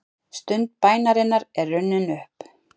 Stund bænarinnar er runnin upp.